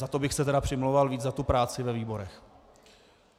Za to bych se tedy přimlouval víc, za tu práci ve výborech.